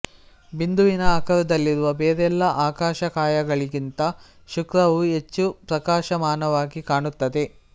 ಬಿಂದುವಿನ ಆಕಾರದಲ್ಲಿರುವ ಬೇರೆಲ್ಲಾ ಆಕಾಶಕಾಯಗಳಿಗಿಂತ ಶುಕ್ರವು ಹೆಚ್ಚು ಪ್ರಕಾಶಮಾನವಾಗಿ ಕಾಣುತ್ತದೆ